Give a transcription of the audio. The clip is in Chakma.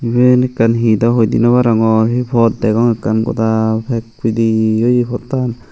iyen ekkan he daw hoi di naw arongor he pot degong ekkan goda pek pidey oye pottan.